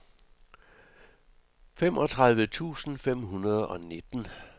femogtredive tusind fem hundrede og nitten